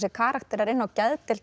karakterar inni á geðdeild